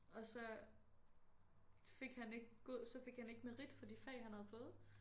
Og så fik han ikke god så fik han ikke merit for de fag han havde fået